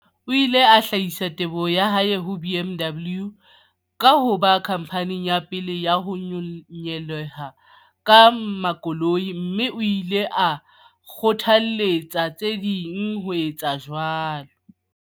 O ile a hlahisa teboho ya hae ho BMW ka ho ba khamphani ya pele ya ho nyehela ka makoloi, mme o ile a kgothaletsa tse ding ho etsa jwalo.